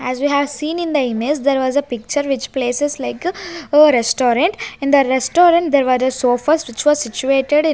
As we as seen in the image there was a picture which places like a restaurant in the restaurant there were a sofas which was situated--